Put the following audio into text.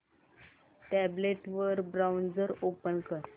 tablet वर browser open कर